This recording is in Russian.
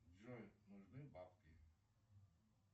джой нужны бабки